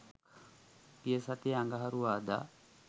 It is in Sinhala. ගිය සතියේ අඟහරුවාදා